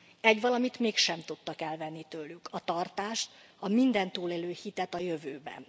Egyvalamit mégsem tudtak elvenni tőlük a tartást, a mindent túlélő hitet a jövőben.